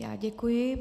Já děkuji.